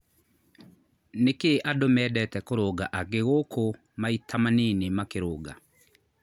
nĩkĩĩ andũ mendete kũrũnga angĩ gũku maĩta manini makĩrũnga